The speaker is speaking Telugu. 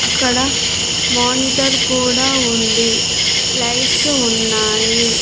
అక్కడ మోనిటర్ కూడా ఉంది లైట్స్ ఉన్నాయి.